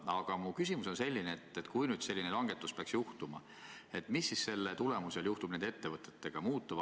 Aga minu küsimus on selline: kui nüüd selline langetus peaks tehtama, mis siis selle tulemusel juhtub nende ettevõtetega?